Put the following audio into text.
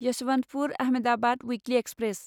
Yesvantpur Ahmedabad weekly express